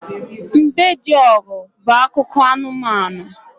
Mbediogu' bu akụkọ anumanu